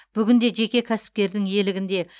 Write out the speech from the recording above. бүгінде жеке кәсіпкердің иелігінде